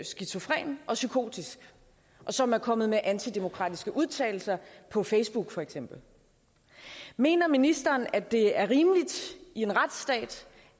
skizofren og psykotisk og som er kommet med antidemokratiske udtalelser på facebook for eksempel mener ministeren at det er rimeligt i en retsstat